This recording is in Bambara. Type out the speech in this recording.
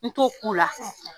N t'o k'u la.